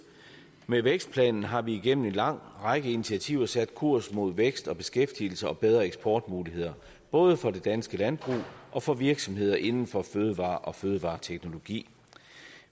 med vækstplanen har vi igennem en lang række initiativer sat kurs mod vækst og beskæftigelse og bedre eksportmuligheder både for det danske landbrug og for virksomheder inden for fødevarer og fødevareteknologi